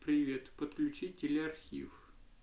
привет подключить телеархив